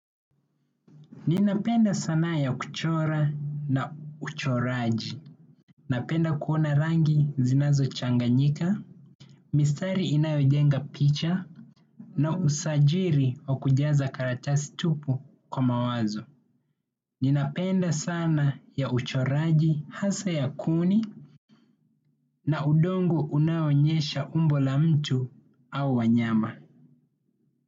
Ninapenda sanaa ya kuchora na uchoraji. Napenda kuona rangi zinazo changanyika, mistari inayojenga picha na usajiri wa kujaza karatasi tupu kwa mawazo. Ninapenda sana ya uchoraji hasa ya kuni na udongo unaoonyesha umbo la mtu au wanyama.